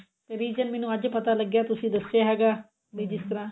reason ਮੈਨੂੰ ਅੱਜ ਪਤਾ ਲੱਗਿਆ ਹੈਗਾ ਤੁਸੀਂ ਦੱਸਿਆ ਹੈਗਾ ਵੀ ਜਿਸ ਤਰ੍ਹਾਂ